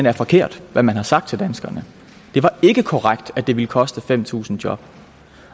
er forkert hvad man har sagt til danskerne det var ikke korrekt at det ville koste fem tusind job